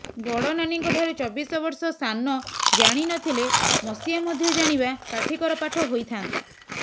ବଡ଼ନାନୀଙ୍କ ଠାରୁ ଚବିଶ ବର୍ଷ ସାନ ଜାଣି ନଥିଲେ ମସିହା ମଧ୍ୟ ଜାଣିବା କାଠିକର ପାଠ ହୋଇ ଥାଆନ୍ତା